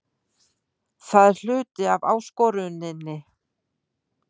Það er hluti af áskoruninni.